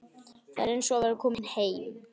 Þetta er eins og að vera kominn heim.